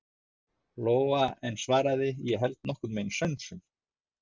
Lóa en svaraði: Ég held nokkurn veginn sönsum.